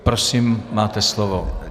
Prosím, máte slovo.